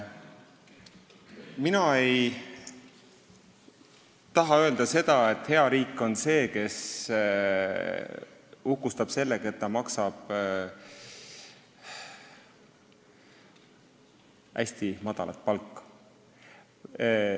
Mina ei taha öelda, nagu hea riik oleks see, kes uhkustab sellega, et ta maksab hästi madalat palka.